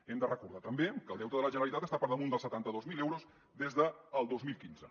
hem de recordar també que el deute de la generalitat està per damunt dels setanta dos mil euros des del dos mil quinze